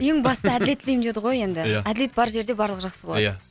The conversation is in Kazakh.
ең бастысы әділет тілеймін деді ғой енді ия әділет бар жерде барлығы жақсы болады ия